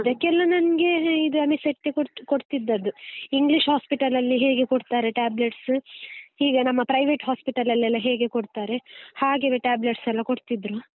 ಅದಕ್ಕೆಲ್ಲ ನಂಗೆ ಇದು ಅನಿಸಟ್ಟೆ ಕೋಡ್~ ಕೊಡ್ತಿದ್ದದ್ದು, english hospital ಲ್ಲಿ ಹೇಗೆ ಕೊಡ್ತಾರೆ tablets ಈಗ ನಮ್ಮ private hospital ಎಲ್ಲ ಹೇಗೆ ಕೊಡ್ತಾರೆ ಹಾಗೆವೆ tablets ಲ್ಲಾ ಕೊಡ್ತಿದ್ರು.